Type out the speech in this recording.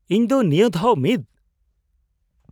ᱤᱧ ᱫᱚ ᱱᱤᱭᱟᱹ ᱫᱷᱟᱣ ᱢᱤᱫ